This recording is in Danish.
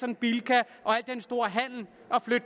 en bilka og